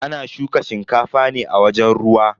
Ana shuka shinkafa ne a wajen ruwa.